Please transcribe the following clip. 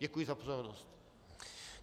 Děkuji za pozornost.